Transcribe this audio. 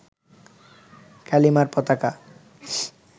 কালিমার পতাকা